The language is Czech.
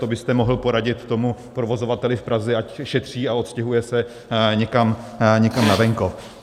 To byste mohl poradit tomu provozovateli v Praze, ať šetří a odstěhuje se někam na venkov.